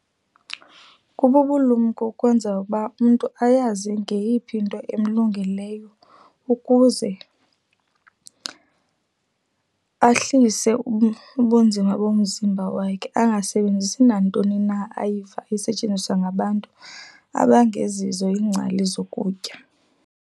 Kububulumko ukwenza ukuba umntu ayazi ngeyiphi into emlungeleyo ukuze ahlise ubunzima bomzimba wakhe angasebenzisi nantoni na ayiziva esetyenziswa ngabantu abangezizo iingcali zokutya.